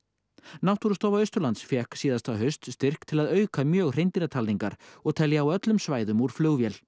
náttúrustofa Austurlands fékk síðasta haust styrk til að auka mjög og telja á öllum svæðum úr flugvél